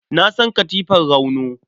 Na san katifar ramno.